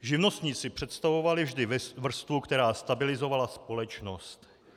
Živnostníci představovali vždy vrstvu, která stabilizovala společnost.